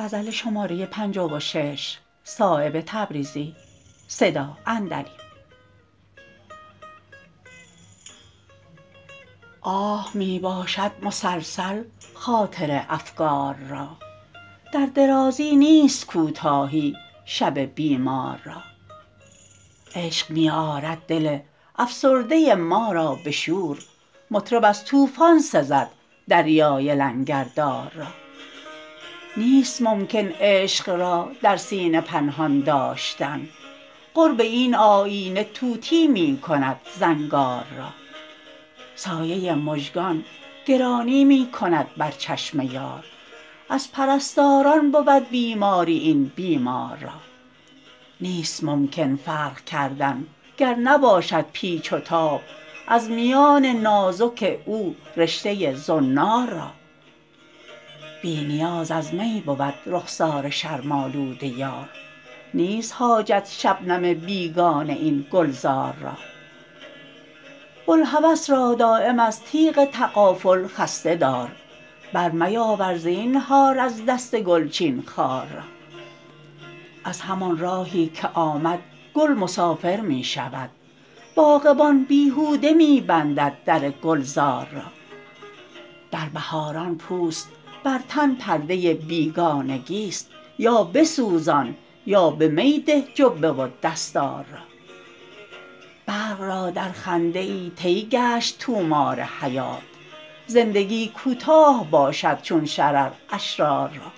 آه می باشد مسلسل خاطر افگار را در درازی نیست کوتاهی شب بیمار را عشق می آرد دل افسرده ما را به شور مطرب از طوفان سزد دریای لنگردار را نیست ممکن عشق را در سینه پنهان داشتن قرب این آیینه طوطی می کند زنگار را سایه مژگان گرانی می کند بر چشم یار از پرستاران بود بیماری این بیمار را نیست ممکن فرق کردن گر نباشد پیچ و تاب از میان نازک او رشته زنار را بی نیاز از می بود رخسار شرم آلود یار نیست حاجت شبنم بیگانه این گلزار را بوالهوس را دایم از تیغ تغافل خسته دار برمیاور زینهار از دست گلچین خار را از همان راهی که آمد گل مسافر می شود باغبان بیهوده می بندد در گلزار را در بهاران پوست بر تن پرده بیگانگی است یا بسوزان یا به می ده جبه و دستار را برق را در خنده ای طی گشت طومار حیات زندگی کوتاه باشد چون شرر اشرار را